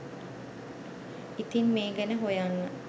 ඉතින් මේ ගැන හොයන්න